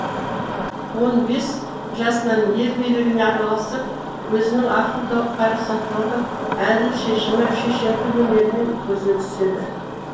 он бес жасынан ел билігіне араласып өзінің ақыл парасаттылығы әділ шешімі шешендік өнерімен көзге түседі